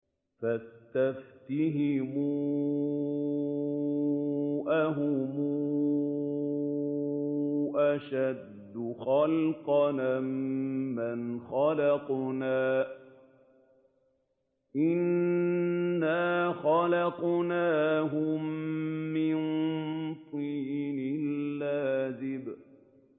فَاسْتَفْتِهِمْ أَهُمْ أَشَدُّ خَلْقًا أَم مَّنْ خَلَقْنَا ۚ إِنَّا خَلَقْنَاهُم مِّن طِينٍ لَّازِبٍ